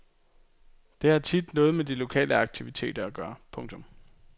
Det har tit noget med de lokale aktiviteter at gøre. punktum